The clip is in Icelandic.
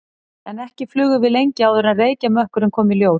En ekki flugum við lengi áður en reykjarmökkurinn kom í ljós.